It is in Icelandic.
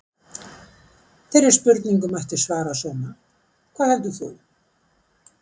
Þeirri spurningu mætti svara svona: Hvað heldur þú?